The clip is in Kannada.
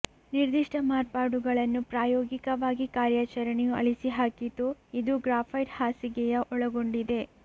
ನಿರ್ದಿಷ್ಟ ಮಾರ್ಪಾಡುಗಳನ್ನು ಪ್ರಾಯೋಗಿಕವಾಗಿ ಕಾರ್ಯಾಚರಣೆಯು ಅಳಿಸಿಹಾಕಿತು ಇದು ಗ್ರ್ಯಾಫೈಟ್ ಹಾಸಿಗೆಯ ಒಳಗೊಂಡಿದೆ